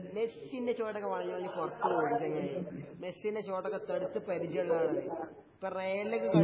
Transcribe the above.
മെസ്സിന്റെ shot ഒക്കെ വളഞ്ഞു പുളഞ്ഞു പുറത്തു പോകും ചങ്ങായി മെസ്സിന്റെ ഷോട്ട് ഒക്കെ തേടുത്ത് പരിചയമുള്ള ആളാണ്